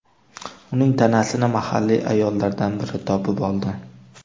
Uning tanasini mahalliy ayollardan biri topib oldi.